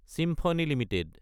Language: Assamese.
symphony Ltd